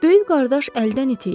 Böyük qardaş əldən it idi.